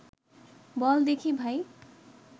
বল দেখি ভাই